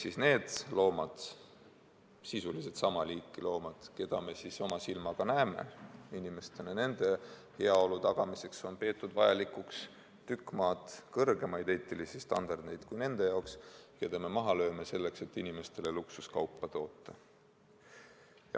Sisuliselt on tegu sama liiki loomadega, aga nende pidamiseks, keda me oma silmaga loomaaias näeme, nende heaolu tagamiseks on peetud vajalikuks tükk maad kõrgemaid eetilisi standardeid kui nende jaoks, kelle me maha lööme, selleks et inimestele luksuskaupa toota.